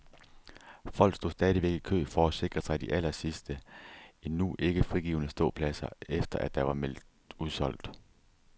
Folk stod stadigvæk i kø for at sikre sig de allersidste, endnu ikke frigivne ståpladser, efter at der var meldt udsolgt.